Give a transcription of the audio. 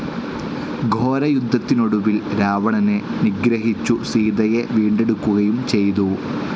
ഘോരയുദ്ധത്തിനൊടുവിൽ രാവണനെ നിഗ്രഹിച്ചു സീതയെ വീണ്ടെടുക്കുകയും ചെയ്തു.